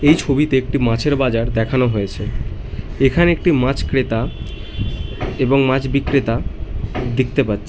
এই ছবিতে একটি মাছের বাজার দেখানো হয়েছে এখানে একটি মাছ ক্রেতা এবং মাছ বিক্রেতা দেখতে পাচ্ছ--